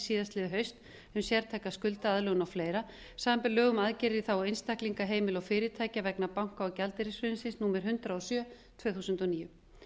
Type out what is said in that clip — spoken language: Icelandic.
síðastliðið haust um sértæka skuldaaðlögun og fleira samanber lög um aðgerðir í þágu einstaklinga heimila og fyrirtækja vegna banka og gjaldeyrishrunsins númer hundrað og sjö tvö þúsund og níu